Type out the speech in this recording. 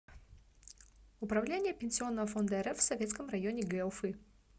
управление пенсионного фонда рф в советском районе г уфы